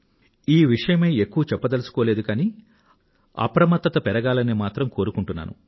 ఈ విషయమై ఎక్కువ చెప్పదలుచుకోలేదు కానీ అప్రమత్తత పెరగాలని మాత్రం కోరుకుంటున్నాను